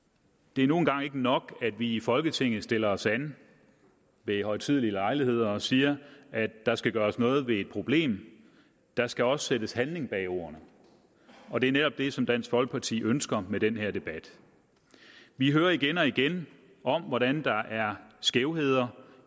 det er nu engang ikke nok at vi i folketinget stiller os an ved højtidelige lejligheder og siger at der skal gøres noget ved et problem der skal også sættes handling bag ordene og det er netop det som dansk folkeparti ønsker med den her debat vi hører igen og igen om hvordan der er skævheder